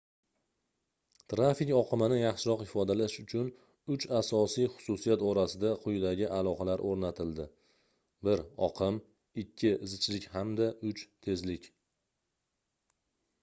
tarfik oqimini yaxshiroq ifodalash uchun uch asosiy xususiyat orasida quyidagi aloqalar o'rnatildi: 1 oqim 2 zichlik hamda 3 tezlik